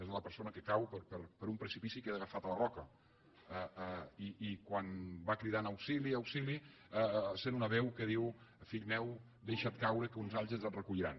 és la persona que cau per un precipici i queda agafat a la roca i quan va cridant auxili auxili sent una veu que diu fill meu deixa’t caure que uns àngels et recolliran